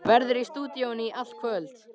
Verður í stúdíóinu í allt kvöld.